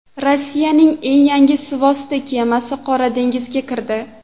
Rossiyaning eng yangi suvosti kemasi Qora dengizga kirdi.